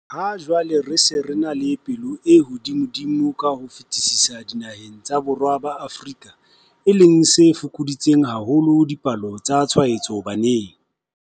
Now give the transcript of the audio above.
Ha jwale re se re ena le palo e hodimodimo ka ho fetisisa dinaheng tsa Borwa ba Afrika, e leng se fokoditseng haholo dipalo tsa tshwaetso baneng.